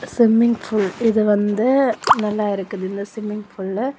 Swimming pool இது வந்து நல்லாருக்குது இந்த ஸ்விம்மிங் பூலு .